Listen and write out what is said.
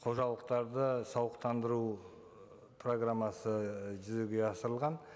қожалықтарды сауықтандыру программасы жүзеге асырылған